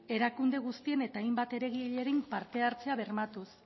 erakunde guztien eta hainbat eragilearen partehartzea bermatuz